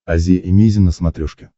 азия эмейзин на смотрешке